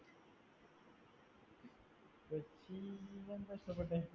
എന്താ ഇഷ്ടപ്പെട്ടെ